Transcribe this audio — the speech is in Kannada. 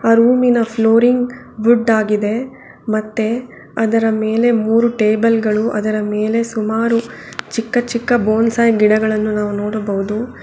ಆ ರೂಮ್ ಇನ ಫ್ಲೋರಿಂಗ್ ವುಡ್ ಆಗಿದೆ ಮತ್ತೆ ಅದರ ಮೇಲೆ ಮೂರು ಟೇಬಲ್ ಗಳು ಅದರ ಮೇಲೆ ಸುಮಾರು ಚಿಕ್ಕ ಚಿಕ್ಕ ಬೊಂಸೈ ಗಿಡಗಳನ್ನು ನಾವು ನೋಡಬಹುದು.